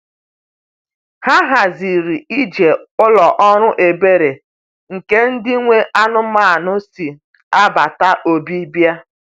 Ha haziri ije ụlọ ọrụ ebere nke ndị nwe anụmanụ si agbata obi bịa.